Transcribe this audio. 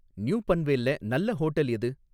New பன்வேல்ல நல்ல hotel எது?